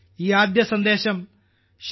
ഈ ആദ്യ സന്ദേശം ശ്രീ